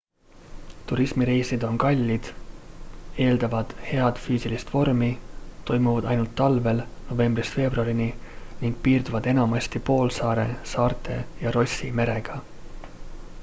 turismireisid on kallid eeldavad head füüsilist vormi toimuvad ainult suvel novembrist veebruarini ning piirduvad enamasti poolsaare saarte ja rossi merega